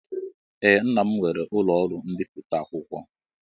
Ee, nnam nwere ụlọ ọrụ mbipụta akwụkwọ